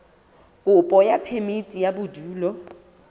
kopo ya phemiti ya bodulo